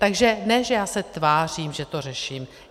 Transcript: Takže ne že já se tvářím, že to řeším.